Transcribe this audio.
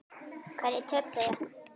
Hverjir töpuðu?